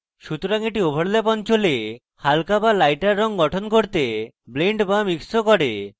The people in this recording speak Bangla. সুতরাং এটি overlap অঞ্চলে হালকা so lighter রঙ গঠন করতে blends so mixes ও করে